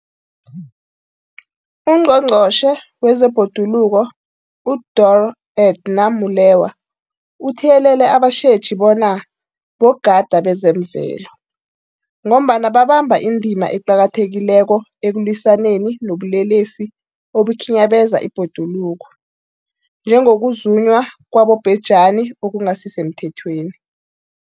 UNgqongqotjhe wezeBhoduluko uDorh Edna Molewa uthiyelele abatjheji bona bogadi bezemvelo, ngombana babamba indima eqakathekileko ekulwisaneni nobulelesi obukhinyabeza ibhoduluko, njengokuzunywa kwabobhejani okungasisemthethweni.